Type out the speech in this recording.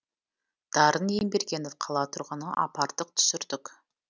дарын ембергенов қала тұрғыны апардық түсірдік